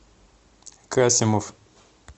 касимов